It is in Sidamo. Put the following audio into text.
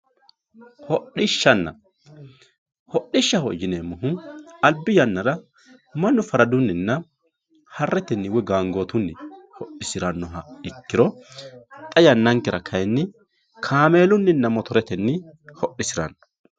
Hodhishshanna, hodhishshaho yineemmohu albi yannara mannu faraduninna Hareteni woyi Gangotunni kaameelunni hodhisinanni.